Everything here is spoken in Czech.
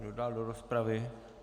Kdo dál do rozpravy?